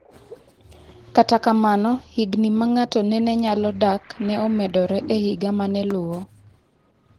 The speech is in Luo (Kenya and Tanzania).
Kata kamano, higni ma ngato nene nyalo dak ne omedore e higa mane luwo.